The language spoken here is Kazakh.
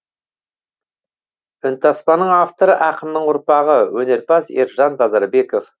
үнтаспаның авторы ақынның ұрпағы өнерпаз ержан базарбеков